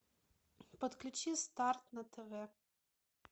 подключи старт на тв